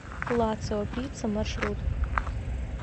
лацио пицца маршрут